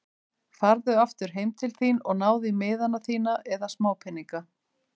Farðu aftur heim til þín og náðu í miðana þína eða smápeninga.